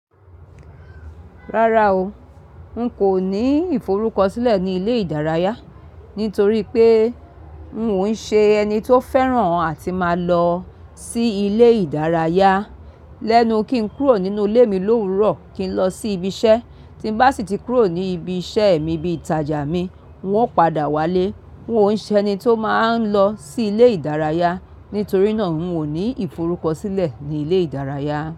Rárá o, n kò ní ìforúkọ sílẹ̀ ní ilé ìdárayá, nítorí pé n ò ṣe ẹni tó fẹ́ràn àti máa lọ sí ilé ìdárayá. Lẹ́nu kí n kúrò nínú ilé mi l'òwúrọ̀ kí n lọ sí ibi iṣẹ́, tí bá sì tí kúrò ní ibi iṣẹ́ mi bí i ìtajà mi, n ó padà wálé. N ò ń ṣe ẹni tó máa ń lọ sí ilé ìdárayá, nítorí náà n kò ní ìforúkọ sílẹ̀ ní ilé ìdárayá.